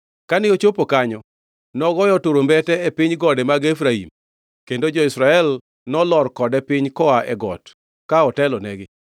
Kane ochopo kanyo, nogoyo turumbete e piny gode mag Efraim, kendo jo-Israel nolor kode piny koa e got, ka otelonegi.